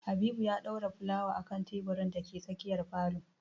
Habibu ya ɗora fulawa a kan teburin da ke tsakiyar falo